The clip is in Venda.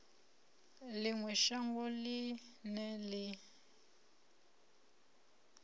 ḽi ṅwe shango ḽine ḽi